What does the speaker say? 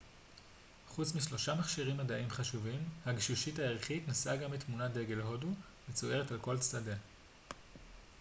חוץ משלושה מכשירים מדעיים חשובים הגשושית הירחית נשאה גם את תמונת דגל הודו מצוירת על כל צדיה